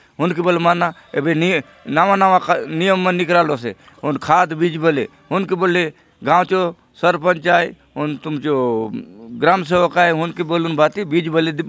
हुन के बले माना एबे नई नवा-नवा नियम मन निकरालोसे हुन खाद बीज बले हुनके बले गांव चो सरपंच आय हुन तुमचो ग्राम सेवक आय हुनके बलून भांति बीज बले --